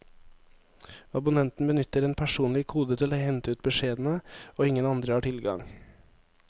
Abonnenten benytter en personlig kode til å hente ut beskjedene, og ingen andre har tilgang.